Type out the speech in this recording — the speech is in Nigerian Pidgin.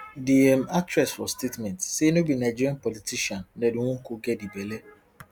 di um actress for statement say no be nigerian politican ned nwoko get di belle